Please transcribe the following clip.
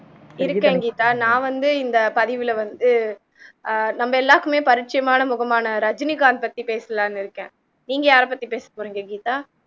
இருக்கேன் கீதா நான் வந்து இந்த பதிவுல வந்து ஆஹ் நம்ம எல்லாருக்குமே பரிட்சயமான முகமான ரஜினிகாந்த் பத்தி பேசலாம்னு இருக்கேன் நீங்க யாரை பத்தி பேசப்போறீங்க கீதா